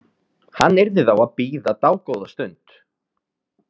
Hann yrði þá að bíða dágóða stund.